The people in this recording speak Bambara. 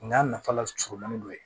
N y'a nafa la surunmanin dɔ ye